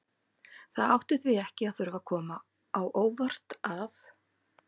Það átti því ekki að þurfa að koma á óvart að